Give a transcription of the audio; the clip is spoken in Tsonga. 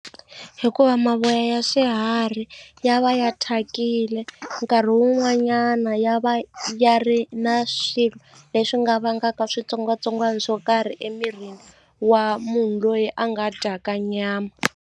Hikuva mavoya ya swiharhi ya va ya thyakile nkarhi wun'wanyana ya va ya ri na swilo leswi nga vangaka switsongwatsongwana swo karhi emirini wa munhu loyi a nga dyaka nyama.